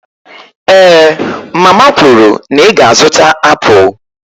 Èé mama kwuru na ị ga-azụta apụl